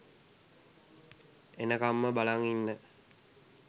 එනකම්ම බලන් ඉන්න